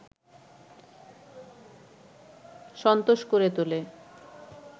সন্ত্রস্ত করে তোলে